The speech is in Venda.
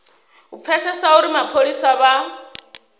u pfesesa uri mapholisa vha